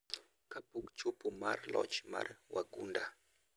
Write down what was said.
kapok chopo mar loch mar wagunda